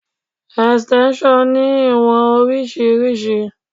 Extension ní ìwọ̀n oríṣiríṣi.